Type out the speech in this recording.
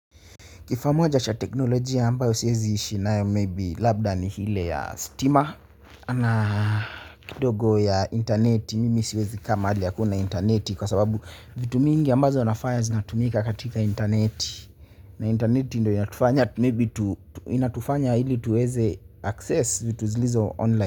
Kifaa moja cha teknolojia ambayo siwezi ishi nayo maybe labda ni ile ya stima ana kidogo ya intaneti mimi siwezi kukaa mahali hakuna intaneti kwa sababu vitu mingi ambazo nafanya zinatumika katika intaneti na intaneti ndo inatufanya ili tuweze access vitu zilizo online.